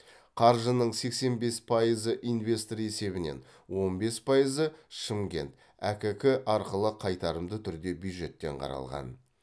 қаржының сексен бес пайызы инвестор есебінен он бес пайызы шымкент әкк арқылы қайтарымды түрде бюджеттен қаралған